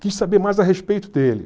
Quis saber mais a respeito dele.